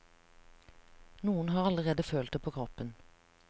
Noen har allerede følt det på kroppen.